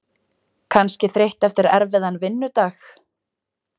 Kannski þreytt eftir erfiðan vinnudag.